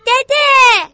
Dədə!